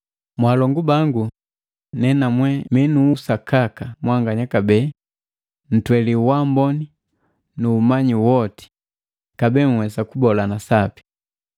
Mwaalongu bangu nenamwe mi nu uwakika mwanganya kabee ntweli waamboni, umanyi woti, kabee nhwesa kubolana sapi.